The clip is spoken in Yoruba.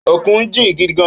Ókún jin gidi gán